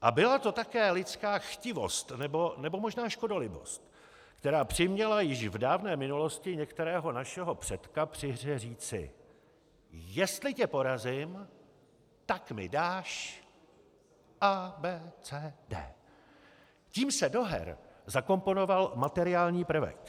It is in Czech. A byla to také lidská chtivost, nebo možná škodolibost, která přiměla již v dávné minulosti některého našeho předka při hře říci: Jestli tě porazím, tak mi dáš A, B, C, D. Tím se do her zakomponoval materiální prvek.